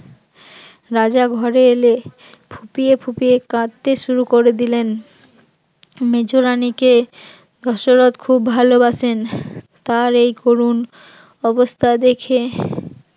রাজা ঘরে এলে ফুপিয়ে ফুপিয়ে কাঁদতে শুরু করে দিলেন, মেজ রানীকে দশরথ খুব ভালোবাসেন, তার এই করুন অবস্থা দেখে